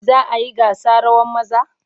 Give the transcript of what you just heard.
Za a yi gasa rawan maza?